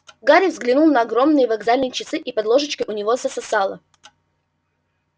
гарри взглянул на огромные вокзальные часы и под ложечкой у него засосало